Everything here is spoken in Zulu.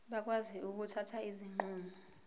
bakwazi ukuthatha izinqumo